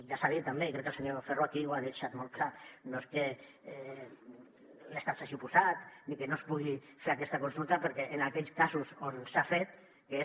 ja s’ha dit també i crec que el senyor ferro aquí ho ha deixat molt clar no és que l’estat s’hi hagi oposat ni que no es pugui fer aquesta consulta perquè en aquells casos on s’ha fet que és